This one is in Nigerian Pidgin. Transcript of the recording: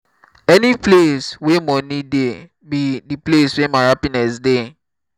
any place where money dey be the place where my happiness dey